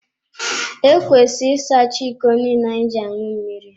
Ekwesịrị ịsacha iko niile anyị ji aṅụ mmiri.